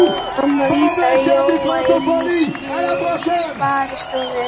Mamma vísaði Jóa inn í sparistofu.